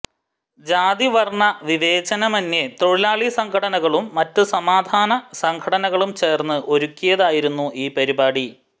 ജാതിവർണവിവേചനമെന്യെ തൊഴിലാളി സംഘടനകളും മറ്റു സമാധാനസംഘടനകളും ചേർന്ന് ഒരുക്കിയതായിരുന്നു ഈ പരിപാടി